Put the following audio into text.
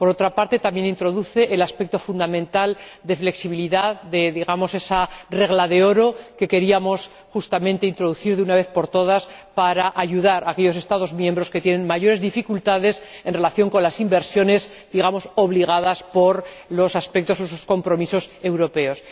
Por otra parte, también introduce el aspecto fundamental de flexibilidad de esa regla de oro que queríamos justamente introducir, de una vez por todas, para ayudar a aquellos Estados miembros que tienen mayores dificultades en relación con las inversiones impuestas por sus compromisos europeos.